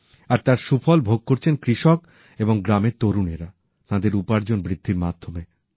আর তার সুফল ভোগ করছেন কৃষক এবং গ্রামের তরুণেরা তাঁদের উপার্জন বৃদ্ধির মাধ্যমে